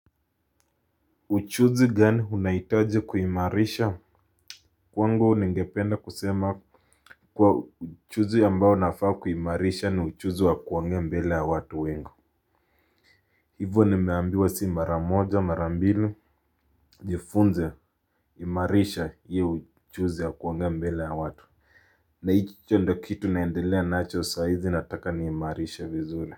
Ujuzi gani unahitaji kuimarisha kwangu ningependa kusema kuwa ujuzi ambao nafaa kuimarisha ni ujuzi wa kuongea mbele ya watu wengi. Hivo nimeambiwa si mara moja mara mbili jifunze imarisha hio ujuzi wa kuongea mbele ya watu na hicho ndio kitu naendelea nacho saa hizi nataka niimarishe vizuri.